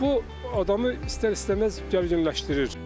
Bax bu adamı istər-istəməz gərginləşdirir.